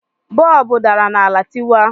Bọọbụ dara n'ala tịwaa